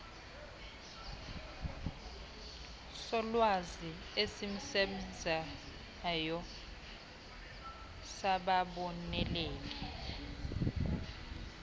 solwazi esisesbenzayo sababoneleli